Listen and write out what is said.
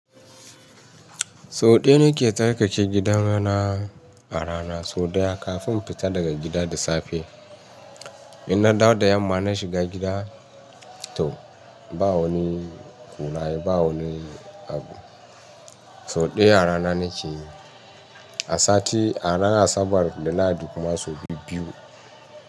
So ɗaya nake tarkace gidan rana a rana. So ɗaya kafin infita daga gida da safe. In na dawo da yamma na shiga gida, to ba wani kunaye ba wani abu. So ɗaya rana nake yi. A sati a rana Asabar, Lahadi kuma sau biyu-biyu.